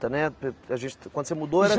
Né Quando você mudou era.